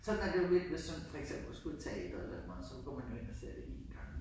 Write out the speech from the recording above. Sådan er det jo lidt hvis nu for eksempel men skulle i teatret så går man jo ind og ser det en gang